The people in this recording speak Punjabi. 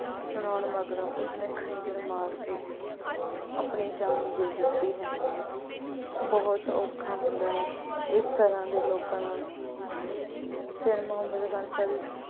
ਸੁਣਾਉਣ ਮਗਰੋਂ ਉਸਨੇ ਖੰਜ਼ਰ ਮਾਰ ਕੇ ਆਪਣੀ ਜਾਨ ਦੇ ਦਿੱਤੀ। ਬਹੁਤ ਔਖਾਂ ਹੁੰਦਾ ਹੈ ਇਸ ਤਰ੍ਹਾਂ ਦਾ ਲੋਕਾਂ ਨਾਲ ਸ਼ੇਰ ਮੁਹੰਮਦ